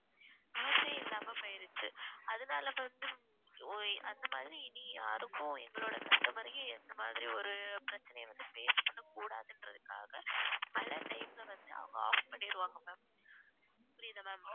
use யே இல்லாம போயிருச்சு அதனால இப்ப வந்து ஓய் அந்த மாதிரி இனி யாருக்கும் எங்களோட customer யும் எந்த மாதிரி ஒரு பிரச்சனைய வந்து face பண்ண கூடாதுன்றத்துக்காக பல time ல வந்து அவங்க off பண்ணிருவாங்க ma'am புரியுதா ma'am